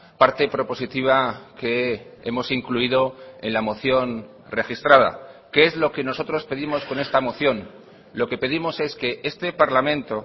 parte propositiva que hemos incluido en la moción registrada qué es lo que nosotros pedimos con esta moción lo que pedimos es que este parlamento